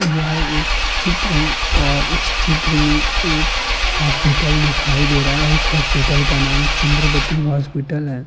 यह एक चित्र है और इस चित्र में एक हॉस्पिटल दिखाई दे रहा है और इस हॉस्पिटल का नाम चंद्रवती हॉस्पिटल है।